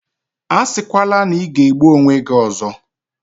Asikwala na ị ga-egbu onwe gi ozo!